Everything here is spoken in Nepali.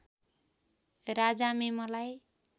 राजामे मलाई